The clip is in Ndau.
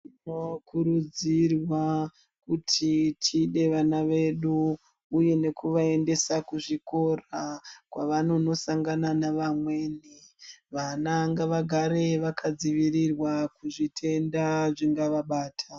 Tinokuridzirwa kuti tide vans vedu uye nekuvaendesa kuzvikora kwavanonosangana nevamweni vana ngavagare vakadzivirirwa kuzvitenda zvingavabata .